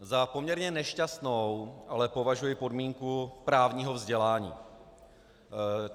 Za poměrně nešťastnou ale považuji podmínku právního vzdělání.